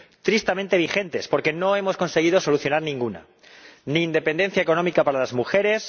Tristemente vigentes, porque no hemos conseguido solucionar ninguna ni independencia económica para las mujeres